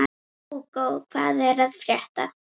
Hugo, hvað er að frétta?